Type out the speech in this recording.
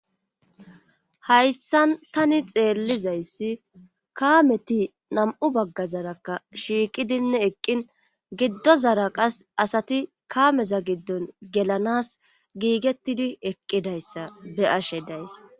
hayssan tani xeellizayssi kaameti nam7u baggazarakka shiiqidinne eqqin giddozara qas asati kaameza giddon gelanas giigettidi eqqidayssa be'ashe days